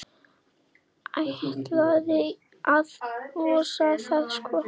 Ætlaði að losa það, sko.